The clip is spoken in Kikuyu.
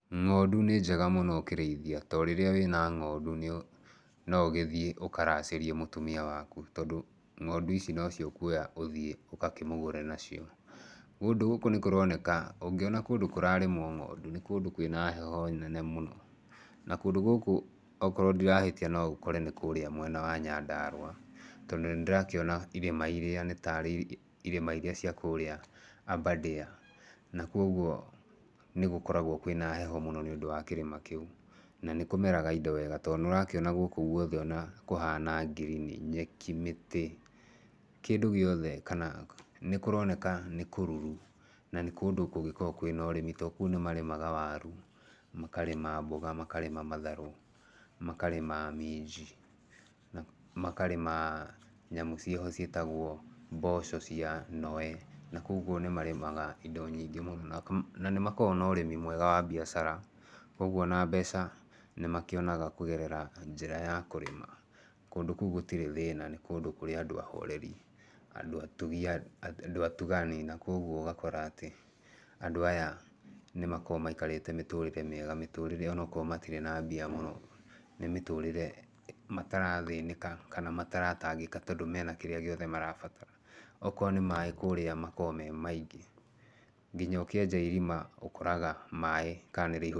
Ng'ondu nĩ njega mũno ũkĩrĩithia. To rĩrĩa wĩna ng'ondu nĩ, no ũgĩthiĩ ũkaracĩrie mũtumia waku tondũ ng'ondu ici no cio ũkuoya ũthiĩ ũkakĩmũgũre nacio. Kũndũ gũkũ nĩ kũroneka nĩ kũroneka, ũngĩona kũndũ kũrarĩmwo ng'ondu, nĩ kũndũ kwĩna heho mũno. Na kũndũ gũkũ okorwo ndirahĩtia no ũkore nĩ kũũrĩa mwena wa Nyandarua, tondũ nĩ ndĩrakĩona irĩma irĩa nĩ tarĩ irĩma irĩa cia kũũrĩa Aberdare. Na kwoguo nĩ gũkoragwo kwĩna heho mũno nĩ ũndũ wa kĩrĩma kĩu. Na nĩ kũmeraga indo wega, to nĩ ũrakĩona gũkũ guothe ona kũhana ngirini. Nyeki, mĩtĩ, kĩndũ gĩothe kana nĩ kũroneka nĩ kũruru. Na nĩ kũndũ kũngĩkorwo kwĩna ũrĩmi to kũu nĩ marĩmaga waru, makarĩma mboga, makarĩma matharũ, makarĩma minji, makarĩma nyamũ ciĩho ciĩtagwo mboco cia noe. Na kwoguo nĩ marĩmaga indo nyingĩ mũno, na nĩ makoragwo na ũrĩmi mwega wa biacara. Kwoguo ona mbeca nĩ makĩonaga kũgerera njĩra ya kũrĩma. Kũndũ kũu gũtirĩ thĩna, nĩ kũndũ kũrĩa andũ ahoreri, andũ atugi, andũ atugani. Na kwoguo ũgakora atĩ, andũ aya nĩ makoragwo maikarĩte mĩtũrĩre mĩega, mĩtũrĩre onakorwo matirĩ na mbia mũno, nĩ mĩtũrĩre matarathĩnĩka, kana mataratangĩka tondũ mena kĩrĩa gĩothe marabatara. Okorwo nĩ maaĩ kũũrĩa makoragwo me maingĩ. Nginya ũkĩenja irima ũkoragwo maaĩ kana nĩ rĩihũrire.